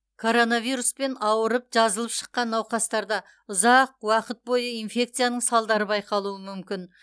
коронавируспен ауырып жазылып шыққан науқастарда ұзақ уақыт бойы инфекцияның салдары байқалуы мүмкін